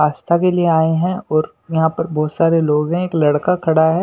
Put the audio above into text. आस्था के लिए आए हैं और यहां पर बहुत सारे लोग हैं एक लड़का खड़ा है।